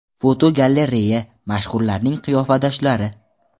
Fotogalereya: Mashhurlarning qiyofadoshlari.